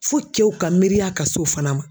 Fo cɛw ka miiriya ka s'o fana ma.